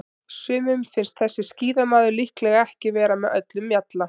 Sumum finnst þessi skíðamaður líklega ekki vera með öllum mjalla.